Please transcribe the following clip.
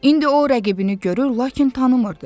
İndi o rəqibini görür, lakin tanımırdı.